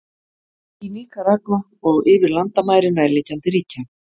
Í Níkaragva og yfir landamæri nærliggjandi ríkja.